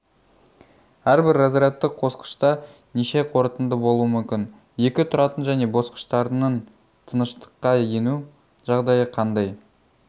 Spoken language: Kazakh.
әрбір разрядты қосқышта неше қорытынды болуы мүмкін екі тұратын және басқыштарының тыныштыққа ену жағдайы қандай